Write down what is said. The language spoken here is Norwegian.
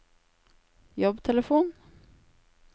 jobbtelefon